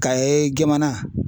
KAYE jamana.